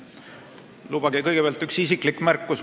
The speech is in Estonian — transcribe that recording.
Lubage kõigepealt üks isiklik märkus.